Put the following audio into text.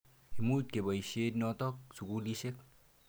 Imuch kopoisye nitok sukulisyek.